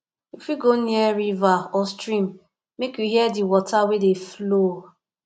you fit go near river or stream make you hear di water wey dey flow